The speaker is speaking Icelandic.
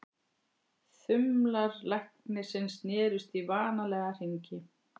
Þumlar læknisins snerust í vanalega hringi.